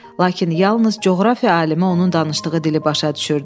Lakin yalnız coğrafiya alimi onun danışdığı dili başa düşürdü.